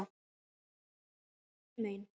Hún bíður hinum megin.